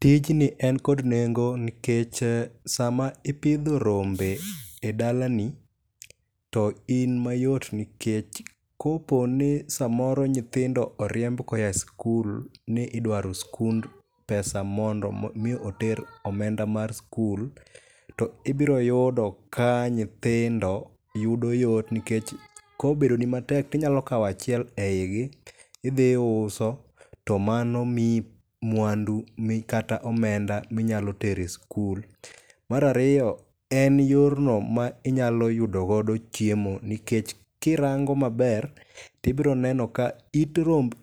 Tijni en kod nengo nikech sama ipidho rombe e dalani, to in mayot nikech koponi samoro nyithindo oriemb koa e sikul ni idwaro sikund pesa mondo mi oter omenda mar sikul, to ibiro yudo ka nyithindo yudo yot nikech ka obedo ni matek to inyalo kawo achiel eigi to idhi iuso to mano miyi mwandu mi kata omenda minyalo tero e sikul. Mar ariyo en yorno ma inyalo yudo godo chiemo nikech ka irango maber to ibiro neno ka